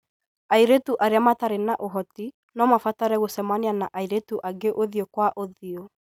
Airĩtu arĩa matarĩ na ũhoti no mabatare gũcemania na airĩtu angĩ ũthiũ kwa ũthiũ.